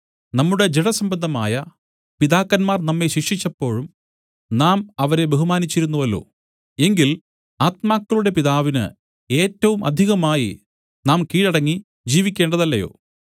നമ്മുടെ ജഡസംബന്ധമായ പിതാക്കന്മാർ നമ്മെ ശിക്ഷിച്ചപ്പോഴും നാം അവരെ ബഹുമാനിച്ചിരുന്നുവല്ലോ എങ്കിൽ ആത്മാക്കളുടെ പിതാവിന് ഏറ്റവും അധികമായി നാം കീഴടങ്ങി ജീവിക്കേണ്ടതല്ലയോ